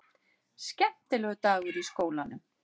Skemmtilegur dagur í skólanum!